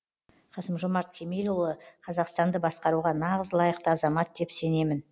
қасым жомарт кемелұлы қазақстанды басқаруға нағыз лайықты азамат деп сенемін